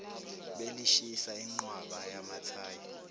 belishisa ingqwaba yamathayi